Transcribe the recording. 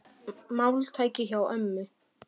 Þetta var máltæki hjá ömmu.